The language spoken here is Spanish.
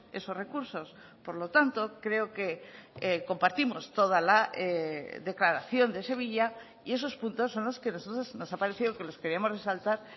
esos recursos por lo tanto creo que compartimos toda la declaración de sevilla y esos puntos son los que nosotros nos ha parecido que los queríamos resaltar